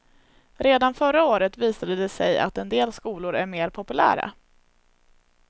Redan förra året visade det sig att en del skolor är mer populära.